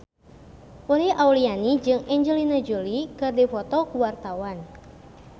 Uli Auliani jeung Angelina Jolie keur dipoto ku wartawan